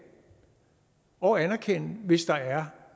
og anerkende hvis der er